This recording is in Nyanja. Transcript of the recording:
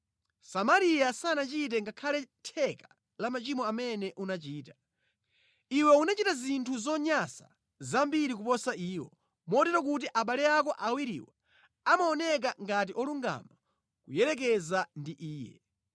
Samariya sanachite ngakhale theka la machimo amene unachita. Iwe wachita zinthu zonyansa zambiri kuposa iwo, motero kuti abale ako awiriwo amaoneka ngati olungama kuyerekeza ndi iye.